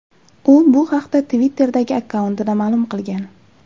U bu haqda Twitter’dagi akkauntida ma’lum qilgan .